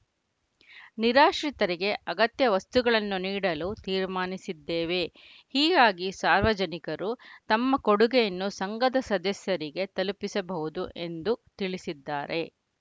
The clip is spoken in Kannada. ನಿರಾಶ್ರಿತರಿಗೆ ಅಗತ್ಯ ವಸ್ತುಗಳನ್ನು ನೀಡಲು ತೀರ್ಮಾನಿಸಿದ್ದೇವೆ ಹೀಗಾಗಿ ಸಾರ್ವಜನಿಕರೂ ತಮ್ಮ ಕೊಡುಗೆಯನ್ನು ಸಂಘದ ಸದಸ್ಯರಿಗೆ ತಲುಪಿಸಬಹುದು ಎಂದು ತಿಳಿಸಿದ್ದಾರೆ